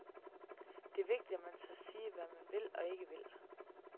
Det er vigtigt, at man tør sige, hvad man vil og ikke vil.